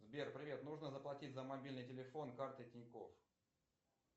сбер привет нужно заплатить за мобильный телефон картой тинькофф